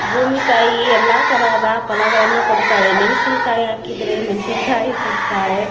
ಬೂಮಿ ತಾಯಿ ಎಲ್ಲ ತರಹದ ಫಲಗಳನ್ನು ಕೊಡುತ್ತಳೆ ಮೆಣ್ಶಿನ್ಕಾಯಿ ಹಾಕಿದ್ರೆ ಮೆಣ್ಶಿನ್ಕಾಯಿ ಕೊಡ್ತಾಳೆ.